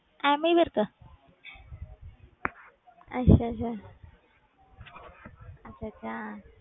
ਐਮੀ ਵਿਰਕ ਅੱਛਾ ਅੱਛਾ ਅੱਛਾ ਅੱਛਾ ਹਾਂ